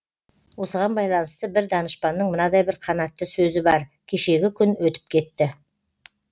осыған байланысты бір данышпанның мынадай бір қанатты сөзі бар кешегі күн өтіп кетті